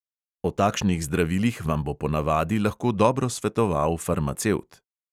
O takšnih zdravilih vam bo ponavadi lahko dobro svetoval farmacevt.